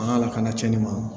An ka lakana tiɲɛni ma